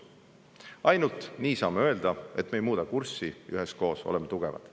Ainult nii saame öelda, et me ei muuda kurssi "Üheskoos oleme tugevad".